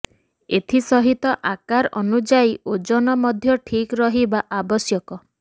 ଏଥି ସହିତ ଆକାର ଅନୁଯାୟୀ ଓଜନ ମଧ୍ୟ ଠିକ ରହିବା ଆବଶ୍ୟକ